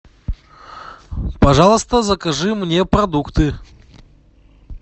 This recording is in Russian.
пожалуйста закажи мне продукты